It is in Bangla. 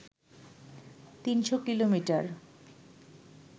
৩০০ কিলোমিটার